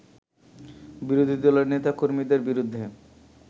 বিরোধী দলের নেতা-কর্মীদের বিরুদ্ধে